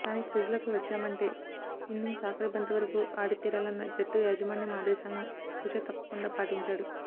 కానీ క్రీజులోకి వచ్చామంటే ఇన్నింగ్స్ ఆఖరి బంతి వరకు ఆడితీరాలన్న జట్టు యాజమాన్యం ఆదేశాలను తూచా తప్పకుండా పాటించాడు